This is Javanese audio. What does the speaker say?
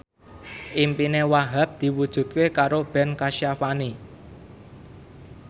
impine Wahhab diwujudke karo Ben Kasyafani